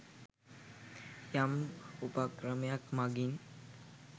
යම් උපක්‍රමයක් මඟින්